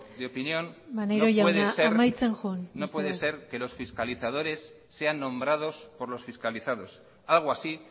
de opinión no puede ser maneiro jauna amaitzen joan mesedez no puede ser que los fiscalizadores sean nombrados por los fiscalizados algo así